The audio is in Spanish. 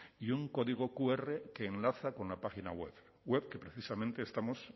y un código qr que enlaza con la página web web que precisamente estamos